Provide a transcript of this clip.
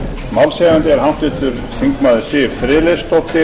málshefjandi er háttvirtur þingmaður siv friðleifsdóttir